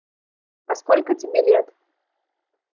а сколько тебе лет